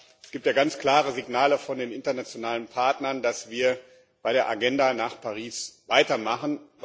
Aber es gibt ja ganz klare Signale von den internationalen Partnern, dass wir bei der Agenda nach Paris weitermachen.